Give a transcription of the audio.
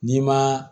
N'i ma